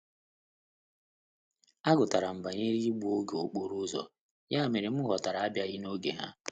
A gutara m banyere igbu oge okporo ụzọ, ya mere m ghọtara abịaghị n'oge ha